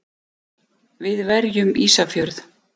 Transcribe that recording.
Við verjum Ísafjörð!